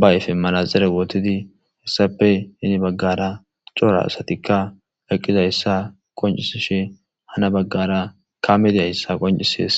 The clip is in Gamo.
bayfe malazere wootidi hessape ini baggara cora asatikka laqqiza hessa qoncisishe hana baggara kamedi hayssa qoncisees